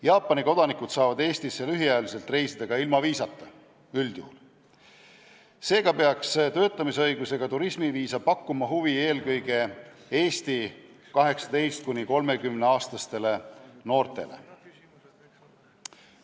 Jaapani kodanikud saavad üldjuhul Eestisse lühiajaliselt reisida ka ilma viisata, seega peaks töötamisõigusega turismiviisa pakkuma huvi eelkõige Eesti 18–30-aastastele noortele.